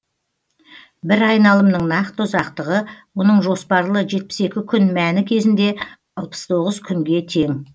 бір айналымның нақты ұзақтығы оның жоспарлы жетпіс екі күн мәні кезінде алпыс тоғыз күнге тең